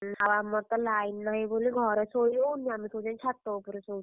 ଆଉ ଆମର ତ line ନାହିଁବୋଲି ଘରେ ଶୋଇହଉନି। ଆମେ ସବୁ ଜାଇକି ଛାତ ଉପରେ ଶୋଉଛୁ।